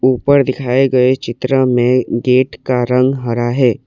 ऊपर दिखाए गए चित्र में गेट का रंग हरा है।